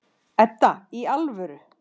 Edda, í alvöru.